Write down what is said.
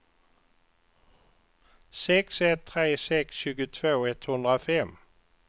sex ett tre sex tjugotvå etthundrafem